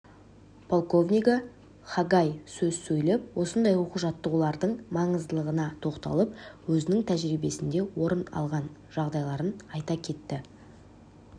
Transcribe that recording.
полковнигі хагай сөз сөйлеп осындай оқу-жаттығулардың маңыздылығына тоқталып өзінің тәжірбиесінде орын алған жағдайларын айта кетті